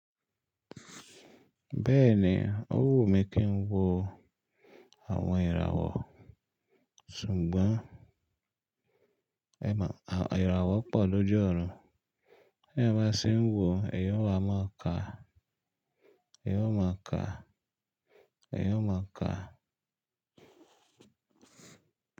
Bẹ́ẹ̀ni ó wù mí kí ń wo àwọn ìràwọ̀, ṣùgbọ́n ẹmọ̀, ìràwọ̀ pọ̀ lójú ọ̀run, bí èèyàn bá ṣe ń wò, ẹ̀eyan ó wa máa ka, ẹ̀yin ó máa ka, ẹ̀yin ó máa ka.